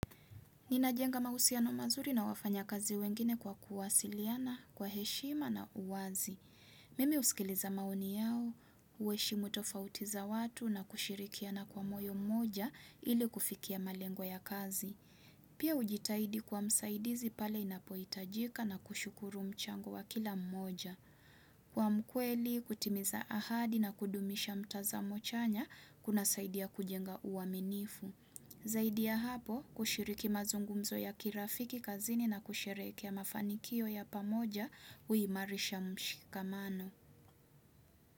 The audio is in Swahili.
Ninajenga mahusiano mazuri na wafanya kazi wengine kwa kuwasiliana, kwa heshima na uwazi. Mimi husikiliza maoni yao, uheshimu tofauti za watu na kushirikiana kwa moyo mmoja ili kufikia malengo ya kazi. Pia hujitaidi kuwa msaidizi pale inapoitajika na kushukuru mchango wa kila mmoja. Kuwa mkweli, kutimiza ahadi na kudumisha mtazamo chanya, kuna saidia kujenga uaminifu. Zaidi ya hapo kushiriki mazungumzo ya kirafiki kazini na kusherehekea mafanikio ya pamoja huimarisha mshikamano.